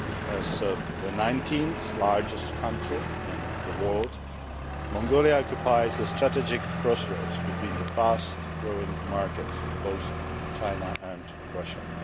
As the nineteenth largest country in the world, Mongolia occupies the strategic crossroads between the fast growing markets of both China and Russia.